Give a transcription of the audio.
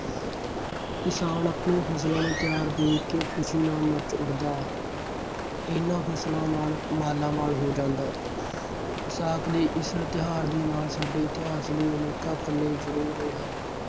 ਕਿਸਾਨ ਆਪਣੀਆਂ ਫਸਲਾਂ ਨੂੰ ਤਿਆਰ ਦੇਖਕੇ ਖੁਸ਼ੀ ਨਾਲ ਨੱਚ ਉੱਠਦਾ। ਇਹਨਾਂ ਫਸਲਾਂ ਨਾਲ ਮਾਲਾਮਾਲ ਹੋ ਜਾਂਦਾ। ਵਿਸਾਖ ਦੇ ਇਸ ਤਿਉਹਾਰ ਦੇ ਨਾਲ ਸਾਡੇ ਇਤਿਹਾਸ ਦੇ ਅਨੇਕਾਂ ਪੰਨੇ ਜੁੜੇ ਹੋਏ ਹਨ।